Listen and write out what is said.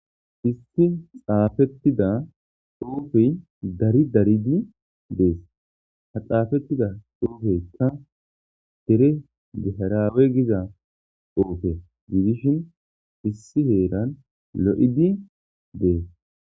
Issi xafetida xufey dari daridi des ha xafetida xufeyka dere gutaraben diza drepe gidishin issi hran lo'idi des